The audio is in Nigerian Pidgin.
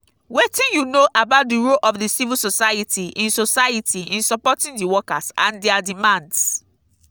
wetin you know about di role of di civil society in society in supporting di workers and dia demands?